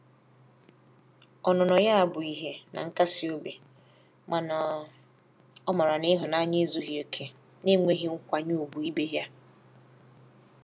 Ọnụnọ ya bụ ihe na nkasi obi mana o mara na ihunanya ezughi oke na-enweghi nkwanye ugwu ibe ya.